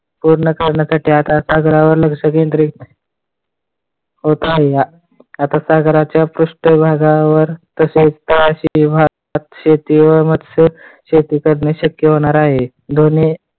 पूर्ण करण्यासाठी आता सागरावर लक्ष केंद्रित होत आहे. आता सागराच्या पृष्ठभागावर तसेच तळाशी भात शेती व मत्स्य शेती शेती करण्यास शक्य होणार आहे.